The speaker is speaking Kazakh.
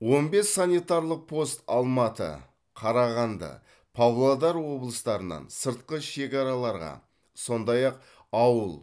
он бес санитарлық пост алматы қарағанды павлодар облыстарынан сыртқы шекараларға сондай ақ ауыл